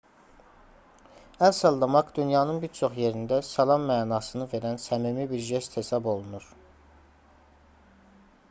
əl sallamaq dünyanın bir çox yerində salam mənasını verən səmimi bir jest hesab olunur